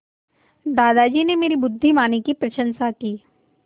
दादाजी ने मेरी बुद्धिमानी की प्रशंसा की